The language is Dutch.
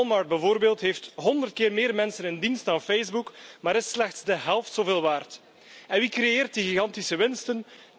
Walmart, bijvoorbeeld, heeft 100 keer meer mensen in dienst dan Facebook, maar is slechts de helft zoveel waard. En wie creëert die gigantische winsten?